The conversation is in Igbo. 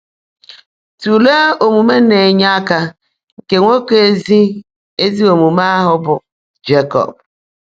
Tụlee omume na-enye aka nke nwoke ezi ezi omume ahụ bụ́ Job.